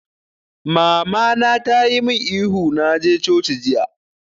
Mama na ta yi mun ihu na je coci jiya!